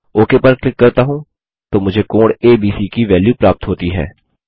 okay पर click करता हूँ तो मुझे कोण एबीसी की वेल्यू प्राप्त होती है